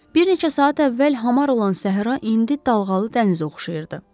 Bir neçə saat əvvəl hamar olan Səhra indi dalğalı dənizə oxşayırdı.